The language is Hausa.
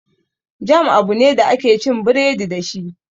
Jam abu ne da ake cin biredi dashi